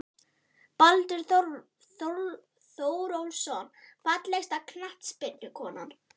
Baldur Þórólfsson Fallegasta knattspyrnukonan?